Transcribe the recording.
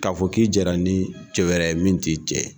K'a fɔ k'i jɛra ni cɛ wɛrɛ ye min t'i jɛ.